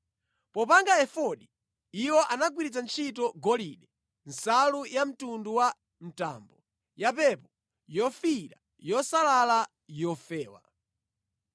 Popanga efodi, iwo anagwiritsa ntchito golide, nsalu yamtundu wa mtambo, yapepo, yofiira, yosalala yofewa.